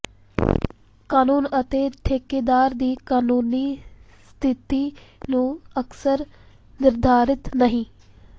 ਕਾਨੂੰਨ ਅਤੇ ਠੇਕੇਦਾਰ ਦੀ ਕਾਨੂੰਨੀ ਸਥਿਤੀ ਨੂੰ ਅਕਸਰ ਨਿਰਧਾਰਿਤ ਨਹੀ